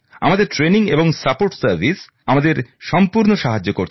আমাদের প্রশিক্ষণ এবং সহায়ক ব্যবস্থা আমাদের সম্পূর্ণ সাহায্য করছে